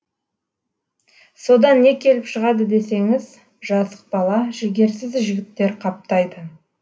содан не келіп шығады десеңіз жасық бала жігерсіз жігіттер қаптайды